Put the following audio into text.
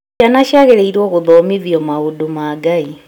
Ciana ciagĩrĩirwo gũthomithio maũndũ ma Ngai